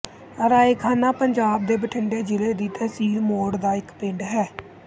ਰਾਏ ਖਾਨਾ ਪੰਜਾਬ ਦੇ ਬਠਿੰਡੇ ਜ਼ਿਲ੍ਹੇ ਦੀ ਤਹਿਸੀਲ ਮੌੜ ਦਾ ਇੱਕ ਪਿੰਡ ਹੈ